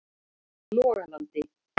Logalandi